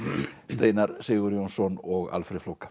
Steinar Sigurjónsson og Alfreð flóka